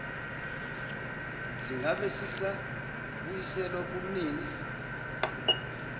singabe sisabuyiselwa kumnini